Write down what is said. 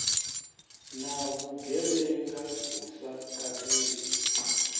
na vhugevhenga hu sa katelwi